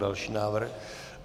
Další návrh.